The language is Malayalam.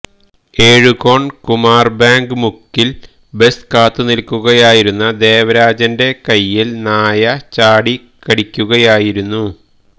എഴുകോണ് കുമാര് ബാങ്ക് മുക്കില് ബസ് കാത്തുനില്ക്കുകയായിരുന്ന ദേവരാജന്െറ കൈയില് നായ ചാടിക്കടിക്കുകയായിരുന്നു